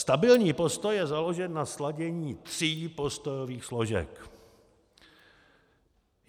Stabilní postoj je založen na sladění tří postojových složek.